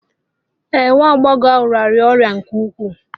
Ee, nwa agbọghọ ahụ rịara ọrịa nke ukwuu